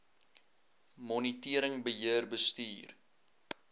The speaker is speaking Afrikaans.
monitering beheer bestuur